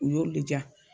U y'olu de diya